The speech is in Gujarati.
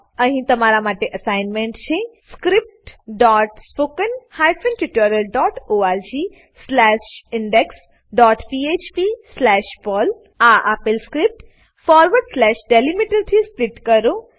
અહી તમારા માટે અસાઈનમેન્ટ છે scriptspoken tutorialorgindexphpપર્લ આ આપલે સ્ક્રીપ્ટ ડીલીમીટર થી સ્પ્લીટ કરો